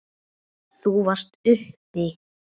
Þú varst uppi.